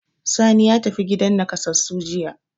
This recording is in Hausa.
Sani ya tafi gidan naƙasassu jiya.